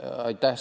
Aitäh!